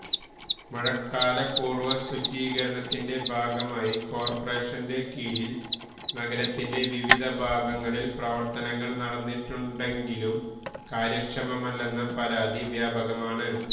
മഴക്കാല പൂര്വ ശുചീകരണത്തിന്റ ഭാഗമായി കോര്പറേഷന്റെ കീഴില് നഗരത്തിന്റ വിവിധ ഭാഗങ്ങളില് പ്രവര്ത്തനങ്ങള് നടന്നിട്ടുണ്ടെങ്കിലും കാര്യക്ഷമമല്ലെന്ന പരാതി വ്യാപകമാണ്